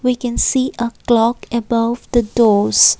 we can see a clock above the doors.